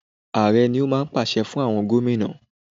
Ààrẹ ni ó máa ń pàṣẹ fún àwọn Gómìnà.